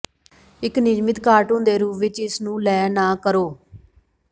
ਇੱਕ ਨਿਯਮਿਤ ਕਾਰਟੂਨ ਦੇ ਰੂਪ ਵਿੱਚ ਇਸ ਨੂੰ ਲੈ ਨਾ ਕਰੋ